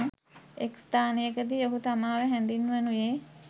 එක් ස්ථානයකදී ඔහු තමාව හැඳින්වනුයේ